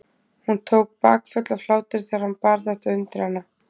Hún tók bakföll af hlátri þegar hann bar þetta undir hana.